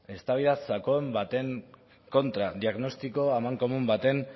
eztabaida sakon baten kontra diagnostiko amankomun baten